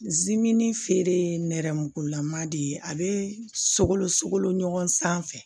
feere ye nɛrɛmugugulama de ye a bɛ sogolo sogo ɲɔgɔn sanfɛ